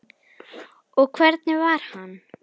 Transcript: Og hvernig var hann?